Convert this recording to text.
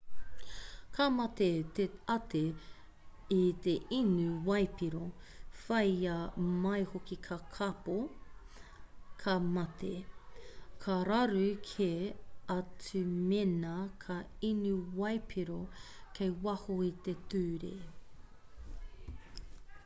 ka mate te ate i te inu waipiro whāia mai hoki ka kāpō ka mate ka raru kē atu mēnā ka inu waipiro kei waho i te ture